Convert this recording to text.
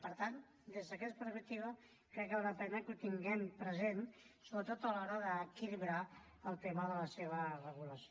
i per tant des d’aquesta perspectiva crec que val la pena que ho tinguem present sobretot a l’hora d’equilibrar el tema de la seva regulació